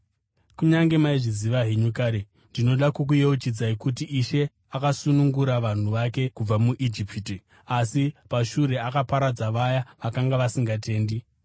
Kunyange maizviziva henyu kare, ndinoda kukuyeuchidzai kuti Ishe akasunungura vanhu vake kubva muIjipiti, asi pashure akaparadza vaya vakanga vasingatendi.